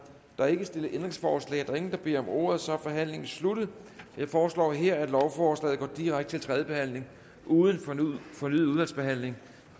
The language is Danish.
der er ikke stillet ændringsforslag der er ingen der beder om ordet så er forhandlingen sluttet jeg foreslår her at lovforslaget går direkte til tredje behandling uden fornyet udvalgsbehandling